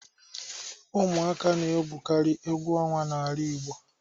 Ụmụaka na-egwukarị egwu ọnwa n'ala igbo.